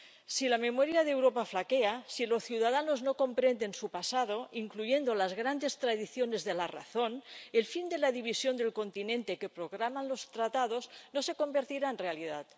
Si la memoria de Europa flaquea, si los ciudadanos no comprenden su pasado, incluyendo las grandes tradiciones de la razón, el fin de la división del continente que programan los Tratados no se convertirá en realidad.